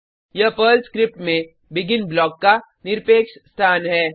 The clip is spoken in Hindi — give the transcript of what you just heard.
यह पर्ल स्क्रिप्ट में बेगिन ब्लॉक का निरपेक्ष स्थान है